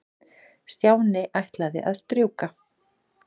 Stjáni ætlaði að strjúka.